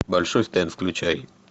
большой стэн включай